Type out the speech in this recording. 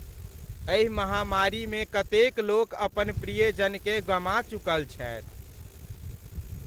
एहि महामारीमे कतेक लोक अपन प्रियजनकेँ गमा चुकल छथि।